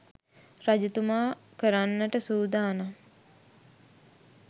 රජතුමා කරන්නට සූදානම්